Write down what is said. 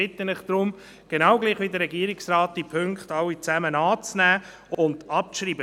Ich bitte Sie deshalb – gleich wie der Regierungsrat – alle Punkte anzunehmen und abzuschreiben.